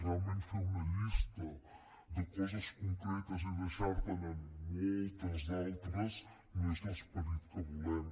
realment fer una llista de coses concretes i deixar te’n moltes d’altres no és l’esperit que volem